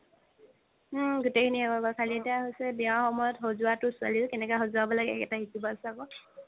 হুম গুতেই খিনি শেষ হ'ল ৰবা এতিয়া হৈছে বিয়া সময়ত সজোয়াটো কেনেকে সজাব লাগে সেই কেইটা শিকিব আছে আকৌ